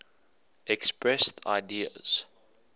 expressed ideas